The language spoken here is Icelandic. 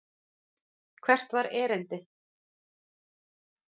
Hvert var erindið?